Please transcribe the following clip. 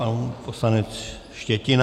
Pan poslanec Štětina.